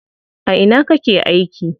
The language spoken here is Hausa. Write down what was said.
A ina kake aiki?